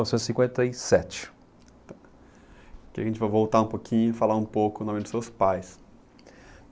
Novecentos e cinquenta e sete. Aqui a gente vai voltar um pouquinho e falar um pouco do nome dos seus pais.